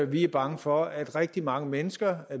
vi er bange for at rigtig mange mennesker